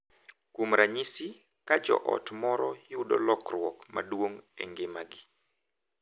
Kuom ranyisi, ka joot moro yudo lokruok maduong’ e ngimagi .